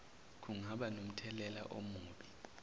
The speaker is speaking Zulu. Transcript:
kungaba nomthelela omubi